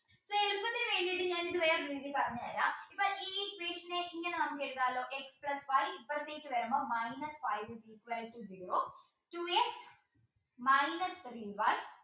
വേറെ ഒരു രീതിയിൽ പറഞ്ഞുതരാം ഇപ്പോ ഈ equation ന് ഇങ്ങനെ നമുക്ക് എഴുതാലോ x plus y ഇപ്പുറത്തേക്ക് വരുമ്പോൾ minus five is equal to zero two x minus three y